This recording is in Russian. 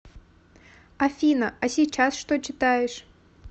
афина а сейчас что читаешь